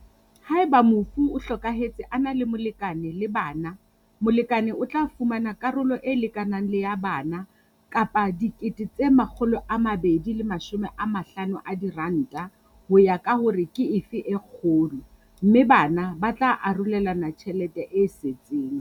Haeba mofu o hlokahetse a na le molekane le bana, molekane o tla fumana karolo e lekanang le ya bana kapa R250 000, ho ya ka hore ke efe e kgolo, mme bana ba tla arolelana tjhelete e setseng.